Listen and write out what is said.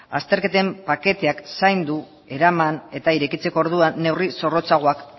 azterketen paketeak zaindu eraman eta irekitzeko orduan neurri zorrotzagoak